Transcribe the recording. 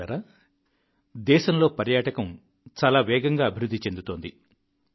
మిత్రులారా దేశంలో పర్యాటకం చాలా వేగంగా అభివృద్ధి చెందుతోంది